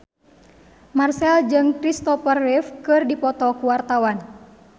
Marchell jeung Christopher Reeve keur dipoto ku wartawan